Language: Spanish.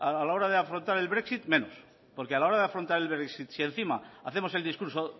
a la hora de afrontar el brexit menos porque a la hora de afrontar el brexit si encima hacemos el discurso